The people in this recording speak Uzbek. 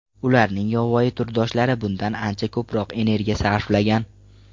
Ularning yovvoyi turdoshlari bundan ancha ko‘proq energiya sarflagan.